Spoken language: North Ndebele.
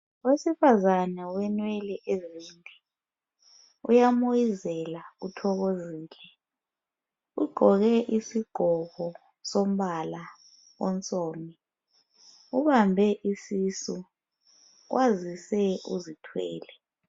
owesifazane ole nwele ezinde uyamoyizela uthokozile ugqoke isigqoko sombala onsundu ubambe isisu kwazise uzithwele